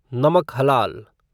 नमक हलाल